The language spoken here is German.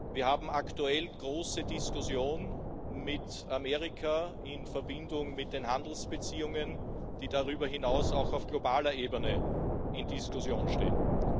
Wir haben aktuell große Diskussionen mit Amerika in Verbindung mit den Handelsbeziehungen, die darüber hinaus auch auf globaler Ebene zur Diskussion stehen.